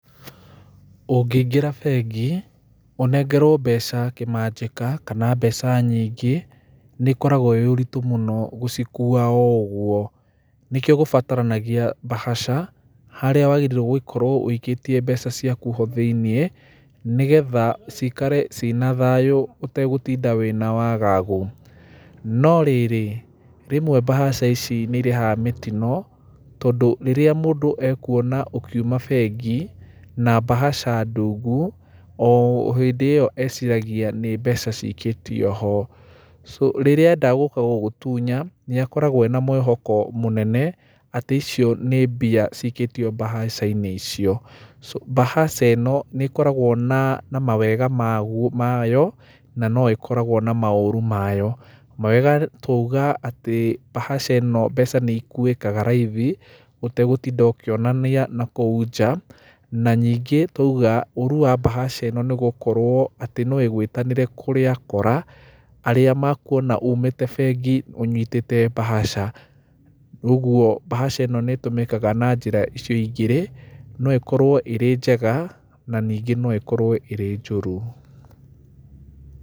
Ũngĩingĩra bengi, ũnengerwo mbeca kĩmanjĩka kana mbeca nyingĩ nĩ ĩkoragwo arĩ ũritũ mũno gũcikua o ũguo, nĩkĩo gũbataranagia mbahaca, harĩa wagĩrĩirwo gũkorwo ũikĩtie mbeca ciaku ho thĩ-inĩ, nĩgetha cikare ciĩ na thayũ ũtegũtinda wĩna wagagu. No rĩrĩ, rĩmwe mbahaca ici nĩ ĩrehaga mĩtino tondũ rĩrĩa mũndũ ekuona ũkiuma bengi, na mbahaca ndungu, o hĩndĩ ĩyo agwĩciria nĩ mbeca cikĩtio ho. Rĩrĩa ekwenda gũka gũgũtunya, nĩ akoragwo ena mwĩhoko mũnene atĩ icio nĩ mbeca cikĩtio mbahaca-inĩ icio, mbahaca ĩno nĩ ĩkoragwo na mawega mayo, na no ĩkoragwo na maũru mayo. Mawega twauga atĩ mbahaca ĩno mbeca nĩ ikuĩkaga raithi, ũtegũtinda ũkĩonania na kou nja, na nyingĩ twauga ũũru wa mbahaca ĩno, nĩ gũkorwo atĩ no ĩgwĩtanĩre kũrĩ akora, arĩa mekuona umĩte bengi wĩna mbahaca. Ũguo mbahaca ĩno nĩ ĩtũmĩkaga na njĩra icio igĩrĩ, no ĩkorwo ĩrĩ njega na ningĩ no ĩkorwo ĩrĩ njũru.